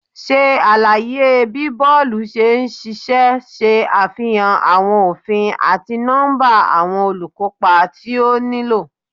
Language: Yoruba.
Ṣe alaye bi bọọlu ṣe n ṣiṣẹ, ṣe afihan awọn ofin ati nọmba awọn olukopa ti o nilo